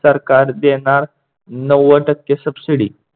सरकार देणार नव्वद टक्के subsidy.